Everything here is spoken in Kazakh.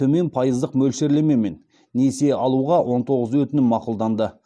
төмен пайыздық мөлшерлемемен несие алуға он тоғыз өтінім мақұлданды